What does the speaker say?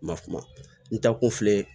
Ma kuma n taakun filɛ